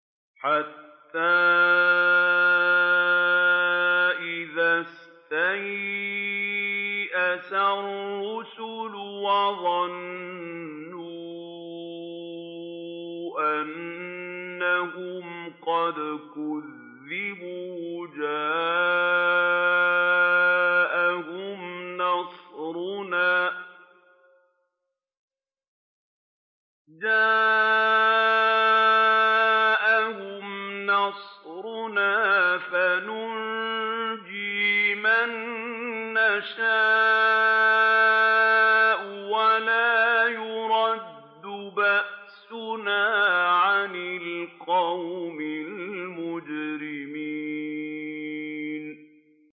حَتَّىٰ إِذَا اسْتَيْأَسَ الرُّسُلُ وَظَنُّوا أَنَّهُمْ قَدْ كُذِبُوا جَاءَهُمْ نَصْرُنَا فَنُجِّيَ مَن نَّشَاءُ ۖ وَلَا يُرَدُّ بَأْسُنَا عَنِ الْقَوْمِ الْمُجْرِمِينَ